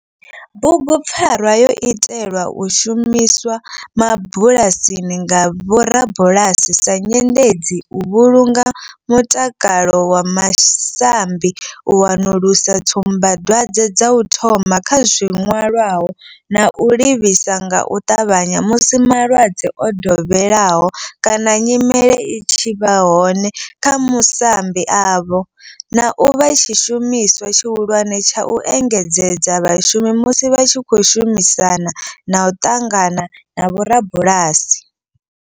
Bugupfarwa yo itelwa u shumiswa mabulasini nga vhorabulasi sa nyendedzi u vhulunga mutakalo wa masambi, u wanulusa tsumbadwadzwe dza u thoma kha zwilwalaho na u livhisa nga u tavhanya musi malwadze o dovheleaho kana nyimele i tshi vha hone kha masambi avho, na u vha tshishumiswa tshihulwane tsha u engedzedza vhashumi musi vha tshi khou shumisana na u ṱangana na vhorabulasi.